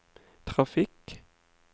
trafikk